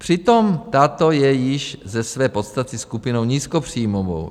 Přitom tato je již ze své podstaty skupinou nízkopříjmovou.